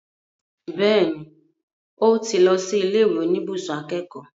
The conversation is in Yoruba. Bẹ́ẹ̀ni, ó ti lọ sí ilé ìwé oníbùsùn akẹ́kọ̀ọ́